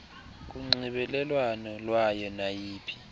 kunxibelelwano lwalo naliphi